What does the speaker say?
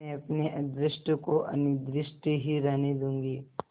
मैं अपने अदृष्ट को अनिर्दिष्ट ही रहने दूँगी